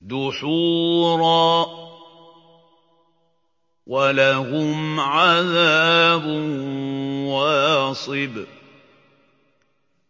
دُحُورًا ۖ وَلَهُمْ عَذَابٌ وَاصِبٌ